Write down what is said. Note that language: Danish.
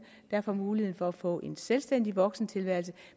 der får mulighed for at få en selvstændig voksentilværelse